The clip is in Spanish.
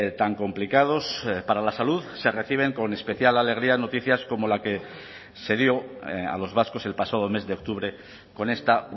tan complicados para la salud se reciben con especial la alegría noticias como la que se dio a los vascos el pasado mes de octubre con esta